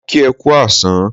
Mo kí e kú àsán